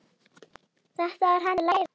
Þetta er hann að læra!